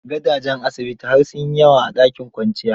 Gadajen asibiti har sun yi yawa a dakin kwanciya.